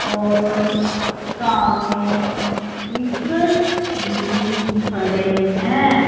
और सामने व्हीकल भी खड़े हैं।